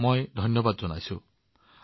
তেওঁলোকে কিমান বিপদশংকুল কাম কৰি আছে